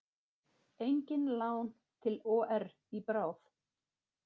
Engin lán til OR í bráð